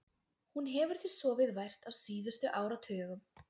Hún hefur því sofið vært á síðustu áratugum.